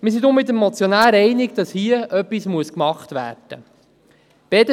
Deshalb gehen wir mit dem Motionär einig, dass hier etwas unternommen werden muss.